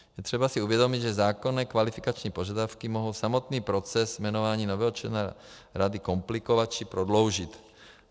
Je třeba si uvědomit, že zákonné kvalifikační požadavky mohou samotný proces jmenování nového člena rady komplikovat či prodloužit.